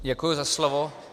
Děkuji za slovo.